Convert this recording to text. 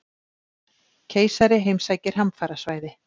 Keisari heimsækir hamfarasvæði